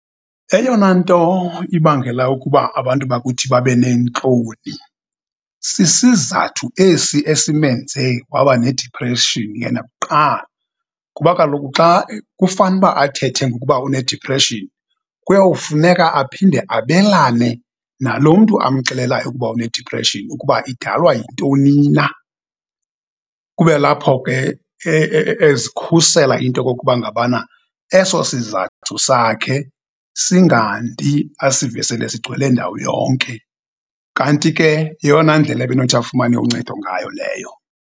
Eyona nto ibangela ukuba abantu bakuthi babe neentloni, sisizathu esi esimenze waba nediphreshini yena kuqala kuba kaloku xa kufanuba athethe ngokuba unediphreshini, kuyawufuneka aphinde abelane nalo mntu amxelela ukuba unediphreshini, ukuba idalwa yintoni na. Kube lapho ke ezikhusela into okokuba ngabana eso sizathu sakhe singandi asive sele sigcwele ndawo yonke. Kanti ke yeyona ndlela ebe nothi afumane uncedo ngayo leyo.